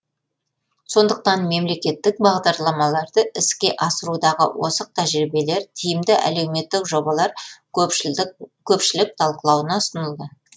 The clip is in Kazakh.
сондықтан мемлекеттік бағдарламаларды іске асырудағы озық тәжірибелер тиімді әлеуметтік жобалар көпшілік талқылауына ұсынылды